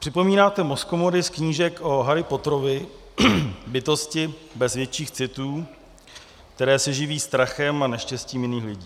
Připomínáte mozkomory z knížek o Harry Potterovi, bytosti bez větších citů, které se živí strachem a neštěstím jiných lidí.